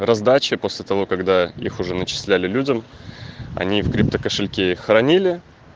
раздача после того когда их уже начисляли людям они в крипто кошельке их хранили